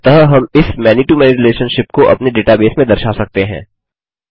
अतः हम इस many to मैनी रिलेशनशिप को अपने डेटाबेस में दर्शा सकते हैं